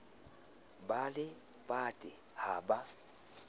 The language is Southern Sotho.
ba le pate ha ba